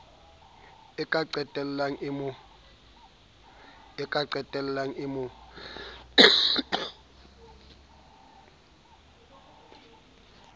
e ka qetellang e mo